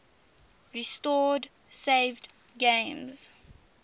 restore saved games